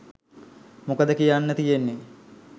මොකද කි‍යන්න තියෙන්නේ.